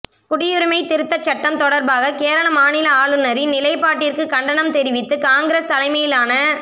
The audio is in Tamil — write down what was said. குடியுரிமைத் திருத்தச் சட்டம் தொடர்பாக கேரள மாநில ஆளுநரின் நிலைபாட்டிற்கு கண்டனம் தெரிவித்து காங்கிரஸ் தலைமையிலான